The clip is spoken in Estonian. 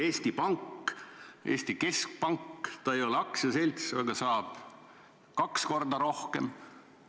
Eesti Pank ei ole aktsiaselts, aga tema juht saab palka kaks korda rohkem.